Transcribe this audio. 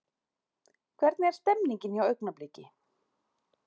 Hvernig er stemningin hjá Augnablik?